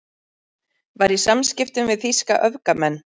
Var í samskiptum við þýska öfgamenn